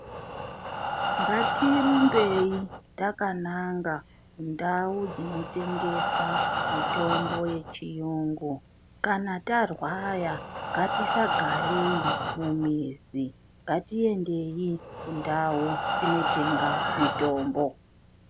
Ngatirumbeti takananga kundau dzinotengesa mitombo yechiyungu kana tarwara ngatisagareyi mumizi ngatiendeyi kundau tinotenga mitombo .